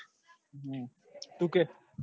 તું કે